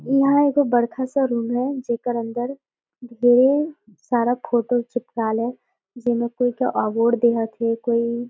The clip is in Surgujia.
इहा एगो बढ़खा सा रूम है जेकर अंदर ये ढ़ेर सारा फोटो चिपकाल है जेमा कोई के अवार्ड देयथे कोई--